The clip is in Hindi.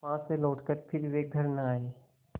वहाँ से लौटकर फिर वे घर न आये